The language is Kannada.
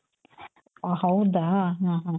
ಓಹ್ ಹೌದಾ ಹ ಹ